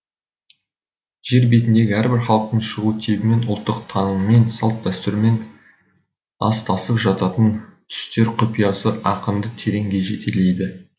жер бетіндегі әрбір халықтың шығу тегімен ұлттық танымымен салт дәстүрімен астасып жататын түстер құпиясы ақынды тереңге жетелейді